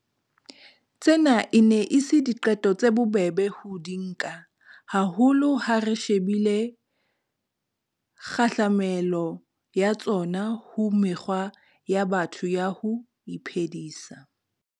Tsena e ne e se diqeto tse bobebe ho di nka, haholo ha re shebile kgahlamelo ya tsona ho mekgwa ya batho ya ho iphedisa.